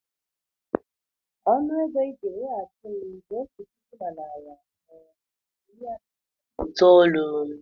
Ọnụ ego ịga enyeghachi m bụ otu puku na narị atọ na iri asatọ na itoolu.